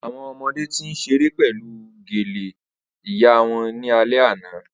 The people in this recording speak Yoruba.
Awọn ọmọde ti n ṣere pẹlu gale iya wọn ni alẹ ana